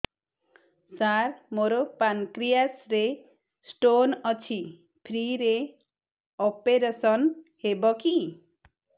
ସାର ମୋର ପାନକ୍ରିଆସ ରେ ସ୍ଟୋନ ଅଛି ଫ୍ରି ରେ ଅପେରସନ ହେବ କି